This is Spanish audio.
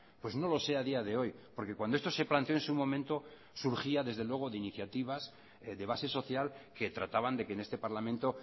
pues no lo sé a día de hoy porque cuando esto se planteó en su momento surgía desde luego de iniciativas de base social que trataban de que en este parlamento